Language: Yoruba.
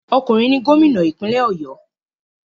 Okunrin ni gomina ipinle Oyo